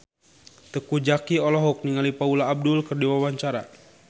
Teuku Zacky olohok ningali Paula Abdul keur diwawancara